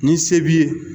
Ni se b'i ye